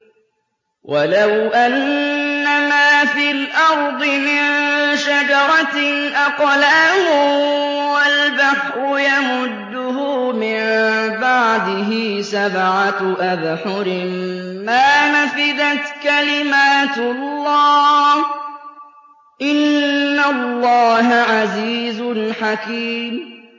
وَلَوْ أَنَّمَا فِي الْأَرْضِ مِن شَجَرَةٍ أَقْلَامٌ وَالْبَحْرُ يَمُدُّهُ مِن بَعْدِهِ سَبْعَةُ أَبْحُرٍ مَّا نَفِدَتْ كَلِمَاتُ اللَّهِ ۗ إِنَّ اللَّهَ عَزِيزٌ حَكِيمٌ